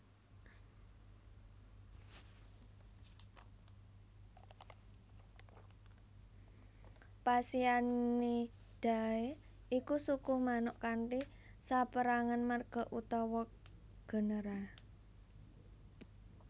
Phasianidae iku suku manuk kanthi sapérangan marga utawa genera